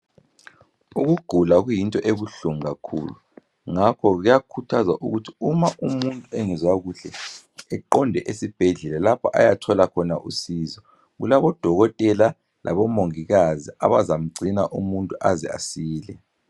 Ukugula kuyinto ebuhlungu kakhulu ngakho kuyakhuthazwa ukuthi uma umuntu engezwa kuhle eqonde esibhedlela lapho ayothola khona usizo. Kulabodokotela labomongikazi abazamgcina umuntu aze asile.